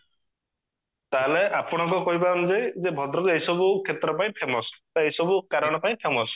ତାହେଲେ ଆପଣଙ୍କ କହିବା ଅନୁଯାଇ ଯେ ଭଦ୍ରକ ଏସବୁ କ୍ଷେତ୍ର ପାଇଁ famous ବା ଏସବୁ କାରଣ ପାଇଁ famous